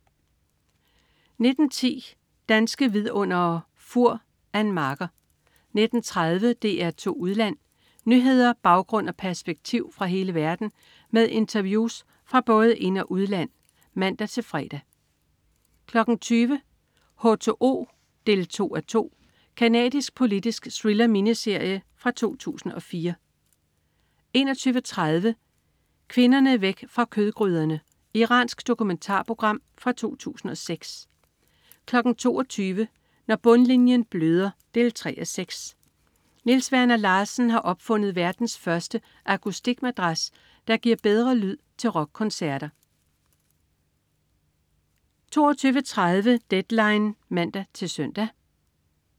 19.10 Danske Vidundere: Fur. Ann Marker 19.30 DR2 Udland. Nyheder, baggrund og perspektiv fra hele verden med interviews fra både ind- og udland (man-fre) 20.00 H2O 2:2. Canadisk politisk thriller-miniserie fra 2004 21.30 Kvinderne væk fra kødgryderne! Iransk dokumentarprogram fra 2006 22.00 Når bundlinjen bløder 3:6. Niels Werner Larsen har opfundet verdens første akustikmadras, der giver bedre lyd til rockkoncerter 22.30 Deadline (man-søn)